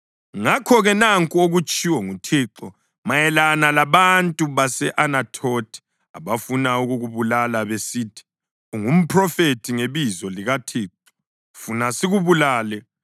Ngakho-ke nanku okutshiwo nguThixo mayelana labantu base-Anathothi abafuna ukukubulala besithi, “Ungaphrofethi ngebizo likaThixo funa sikubulale”